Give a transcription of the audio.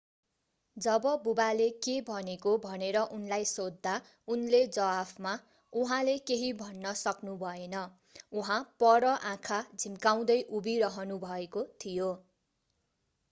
जब बुवाले के भनेको भनेर उनलाई सोध्दा उनले जवाफमा उहाँले केही भन्न सक्नुभएन उहाँ पर आँखा झिम्काउँदै उभिरहनुभएको थियो